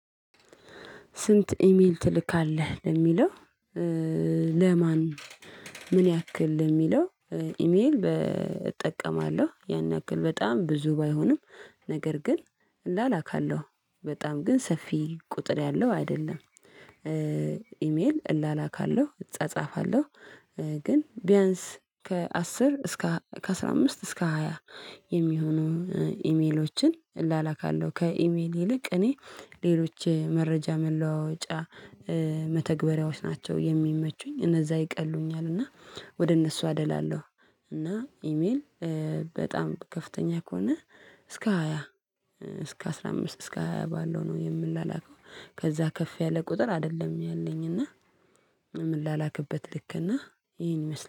ስንት ኢሜል ትልካለህ ለሚለው? ለማን ምን ያክል ለሚለው? ኢሜል እጠቀማለሁ ያን ያክል በጣም ብዙ ባይሆንም ነገር ግን እላላካለሁ በጣም ግን ሰፊ ቁጥር ያለው አይደለም። ኢሜል እላላካለሁ እጻጻፋለሁ ግን ቢያንስ ከአስር እስከ ከአሥራ አምስት እስከ ሃያ የሚሆኑ ኢሜሎችን እላላካለው። ከኢሜል ይልቅ እኔ ሌሎች መረጃ መለዋወጫ መተግበሪያዎች ናቸው የሚመቹኝ እነዛ ይቀሉኛል እና ወደ እነሱ አደላለሁ። እና ኢሜል በጣም ከፍተኛ ከሆነ እስከ ሃያ እስከ አስራ አምስት እስከ ሃያ ባለው ነው የምንላክው። ከዛ ከፍ ያለ ቁጥር አይደለም ያለኝ እና ምላላክበት ልክ እና ይሄን ይመስላል